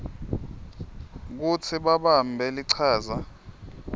kutsi babambe lichaza